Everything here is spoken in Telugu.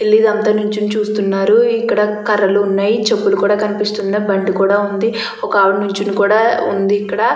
వీళ్ళు ఇదంతా నుంచొని చూస్తున్నారు. ఇక్కడ కర్రలు ఉన్నాయి చెప్పులు కూడా కనిపిస్తూ ఉన్నాయి. బండి కూడా ఉంది ఒక ఆవిడను కూడా నించొని ఉంది.